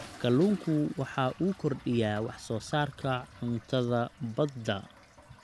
Kalluunku waxa uu kordhiyaa wax soo saarka cuntada badda.